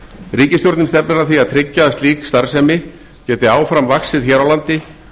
ríkisstjórnin stefnir að því að tryggja að slík starfsemi geti áfram vaxið hér á landi